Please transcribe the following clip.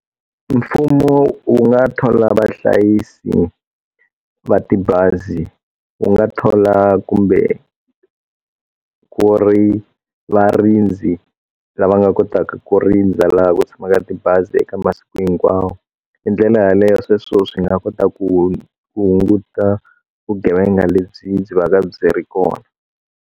Mfumo u nga thola vahlayisi va tibazi u nga thola kumbe ku ri varindzi lava nga kotaka ku rindza laha ku tshamaka tibazi eka masiku hinkwawo hi ndlela yaleyo sweswo swi nga kota ku hunguta vugevenga lebyi byi vaka byi ri kona.